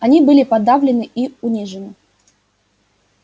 они были подавлены и унижены